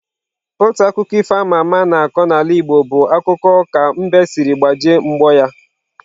Otu akụkọ ifo ama ama a na-akọ n'ala Igbo bụ akụkọ ka mbe siri gbajie mgbọ ya.